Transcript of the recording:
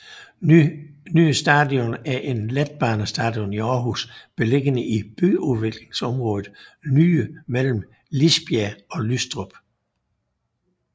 Nye Station er en letbanestation i Aarhus beliggende i byudviklingsområdet Nye mellem Lisbjerg og Lystrup